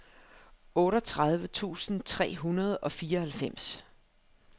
otteogtredive tusind tre hundrede og fireoghalvfems